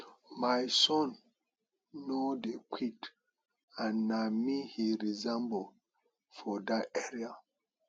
my son no dey quit and na me he resemble for dat area